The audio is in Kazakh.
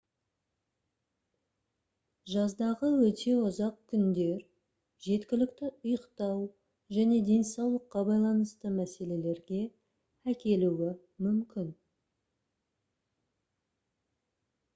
жаздағы өте ұзақ күндер жеткілікті ұйықтау және денсаулыққа байланысты мәселелерге әкелуі мүмкін